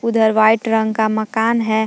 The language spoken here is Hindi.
उधर वाइट रंग का मकान है।